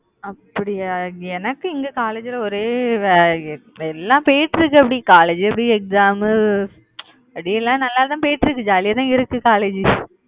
அப்படியா? எனக்கு இங்க college ல ஒரே வே~ எல்லாம் பேசறதுக்கு எப்படி college எப்படி exam மு, அப்படியே எல்லாம் நல்லாதான் போயிட்டிருக்கு, jolly யா தான் இருக்கு college